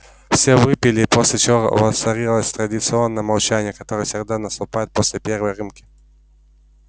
все выпили после чего воцарилось традиционное молчание которое всегда наступает после первой рюмки